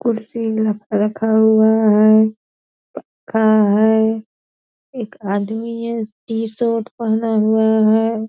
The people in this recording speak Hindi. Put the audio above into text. कुर्सी लाके रखा हुआ है पक्का है एक आदमी है टी-शर्ट पहना हुआ है।